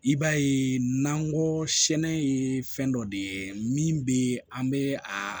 I b'a ye n'an go sɛnɛ ye fɛn dɔ de ye min bɛ an bɛ a